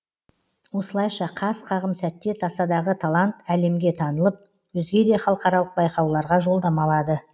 осылайша қас қағым сәтте тасадағы талант әлемге танылып өзге де халықаралық байқауларға жолдама алады